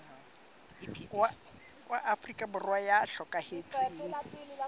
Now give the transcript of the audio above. wa afrika borwa ya hlokahetseng